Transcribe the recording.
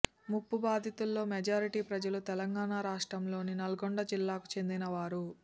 ముంపు బాధితుల్లో మెజారిటీ ప్రజలు తెలంగాణ రాష్ట్రంలోని నల్లగొండ జిల్లాకు చెందినవారు